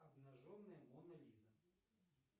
обнаженная мона лиза